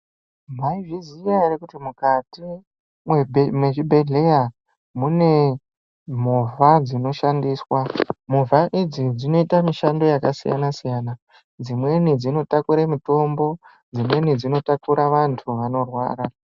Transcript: Mai zviziya ere kuti mukati me zvibhedhleya mune movha dzino shandiswa movha idzi dzinoita mishando yaka siyana siyana dzimweni dzino takure mitombo dzimweni dzino takura vantu vano rwara.